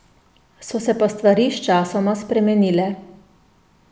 So se pa stvari sčasoma spremenile.